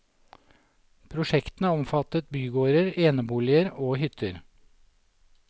Prosjektene omfattet bygårder, eneboliger og hytter.